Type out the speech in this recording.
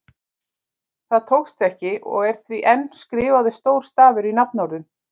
Það tókst ekki og er því enn skrifaður stór stafur í nafnorðum.